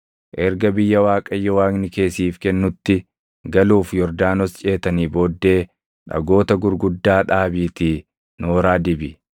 Erga biyya Waaqayyo Waaqni kee siif kennutti galuuf Yordaanos ceetanii booddee dhagoota gurguddaa dhaabiitii nooraa dibi.